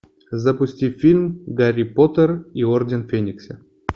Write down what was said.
запусти фильм гарри поттер и орден феникса